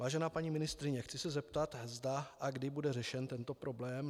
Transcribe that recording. Vážená paní ministryně, chci se zeptat, zda a kdy bude řešen tento problém.